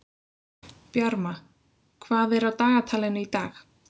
Bjarma, hvað er á dagatalinu í dag?